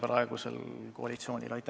Aitäh!